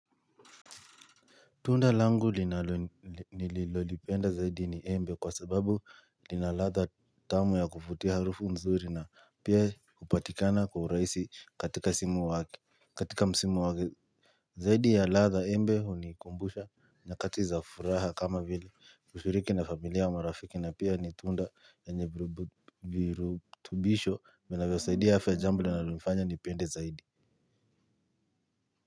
Tunda langu nililolipenda zaidi ni embe kwa sababu linaladha tamu ya kuvutia harufu nzuri na pia kupatikana kwa urahisi katika msimu wake. Zaidi ya ladha embe hu ni kumbusha nyakati za furaha kama vile kushiriki na familia au marafiki na pia ni tunda yenye virutubisho vinavyo saidia afya jambo linalonifanya nipende zaidi.